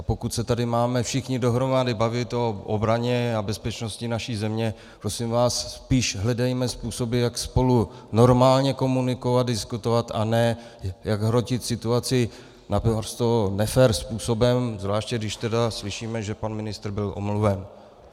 A pokud se tady máme všichni dohromady bavit o obraně a bezpečnosti naší země, prosím vás, spíš hledejme způsoby, jak spolu normálně komunikovat, diskutovat, a ne jak hrotit situaci naprosto nefér způsobem, zvláště když tedy slyšíme, že pan ministr byl omluven.